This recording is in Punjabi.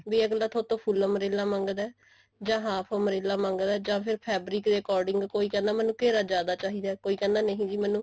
ਵੀ ਅਗਲਾ ਤੁਹਾਡੇ ਤੋਂ ਫੁੱਲ umbrella ਮੰਗਦਾ ਜਾਂ half umbrella ਮੰਗਦਾ ਜਾਂ ਫੇਰ fabric ਦੇ according ਕੋਈ ਕਹਿੰਦਾ ਮੈਨੂੰ ਘੇਰਾ ਜਿਆਦਾ ਚਾਹੀਦਾ ਕੋਈ ਕਹਿੰਦਾ ਨਹੀਂ ਜੀ ਮੈਨੂੰ